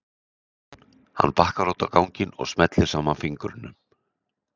Hann bakkar út á ganginn og smellir saman fingrunum.